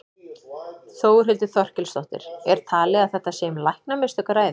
Þórhildur Þorkelsdóttir: Er talið að þetta sé um læknamistök að ræða?